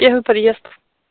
первый подъезд